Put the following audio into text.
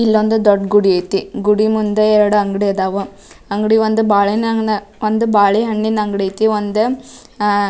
ಇಲ್ಲೊಂದು ದೊಡ್ಡ್ ಗುಡಿ ಐತಿ ಗುಡಿ ಮುಂದೆ ಎರಡು ಅಂಗಡಿ ಆದವು ಅಂಗಡಿ ಅದು ಒಂದು ಬಾಳೆಹಣ್ಣಿನ ಅಂಗಡಿ ಐತಿ ಒಂದು --